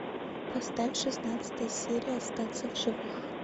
поставь шестнадцатая серия остаться в живых